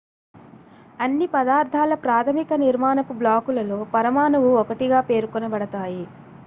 అన్ని పదార్థాల ప్రాథమిక నిర్మాణపు బ్లాకులలో పరమాణువు ఒకటిగా పేర్కొనబడతాయి